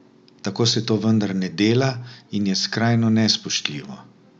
Tako se to vendar ne dela in je skrajno nespoštljivo!